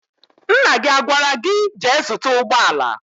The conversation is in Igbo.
Nna gị agwara gị, jee zụta ụgbọala?